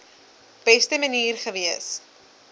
beste manier gewees